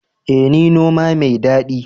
Ee ni noma mai dadi